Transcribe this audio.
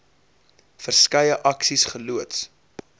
verskeie aksies geloods